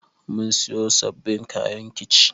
Mun siyo sabbin kayan kici